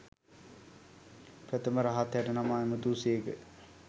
ප්‍රථම රහත් හැටනම ඇමතූ සේක.